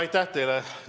Aitäh teile!